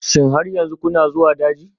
Shin har yanzu kuna zuwa daji?